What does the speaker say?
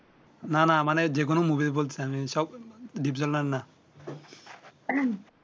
না না মানে যে কোন মুভি বলতেছি না সব ডিপজলের না